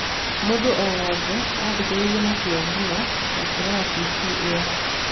Mũndũ o wothe aathikĩrĩirie na kĩyo mũno makĩrora tv ĩyo.